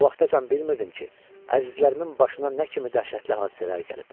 O vaxtacan bilmirdim ki, əzizlərimin başına nə kimi dəhşətli hadisələr gəlib.